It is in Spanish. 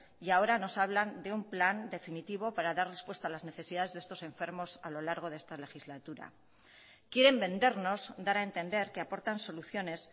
y ahora nos hablan de un plan definitivo para dar respuesta a las necesidades de estos enfermos a lo largo de esta legislatura quieren vendernos dar a entender que aportan soluciones